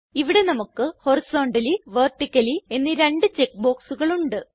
ഇവിടെ നമുക്ക് horizontally vertically എന്നീ രണ്ട് ചെക്ക് ബോക്സുകൾ ഉണ്ട്